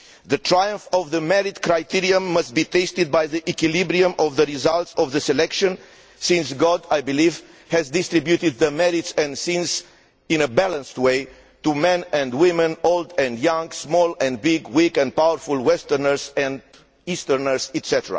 The triumph of the merit criterion must be tested by the equilibrium of the results of the selection, since God, I believe, distributed merits and sins in a balanced way to men and women, old and young, small and big, weak and powerful, westerners and easterners, etc.